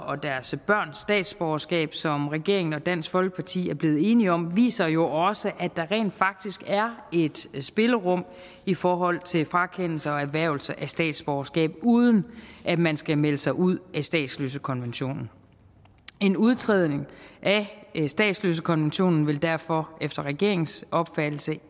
og deres børns statsborgerskab som regeringen og dansk folkeparti er blevet enige om viser jo også at der rent faktisk er et spillerum i forhold til frakendelse og erhvervelse af statsborgerskab uden at man skal melde sig ud af statsløsekonventionen en udtrædelse af statsløsekonventionen vil derfor efter regeringens opfattelse